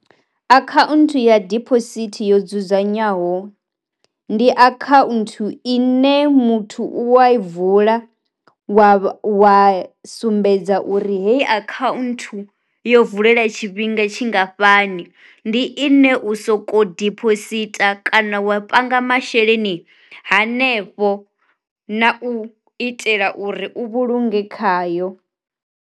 Akhaunthu ya diphosithi yo dzudzanywaho, ndi a kha nthu ine muthu u wa vula wa wa sumbedza uri heyi akhanthu yo vulela tshifhinga tshingafhani, ndi ine u soko ḓi dziphosita kana wa panga masheleni hanefho na u itela uri u vhulunge khayo.